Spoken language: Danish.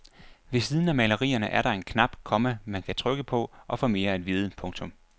Ved siden af malerierne er der en knap, komma man kan trykke på og få mere at vide. punktum